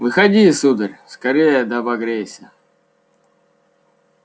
выходи сударь скорее да обогрейся